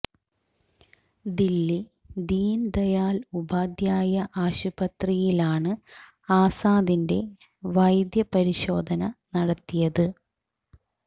ദില്ലി ദീന് ദയാല് ഉപാധ്യായ ആശുപത്രിയിലാണ് ആസാദിന്റെ വൈദ്യ പരിശോധന നടത്തിയത്